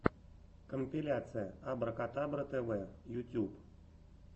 компиляция абракадабра тв ютьюб